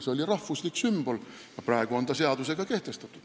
See oli rahvuslik sümbol, mis on aga praeguseks seadusega kehtestatud.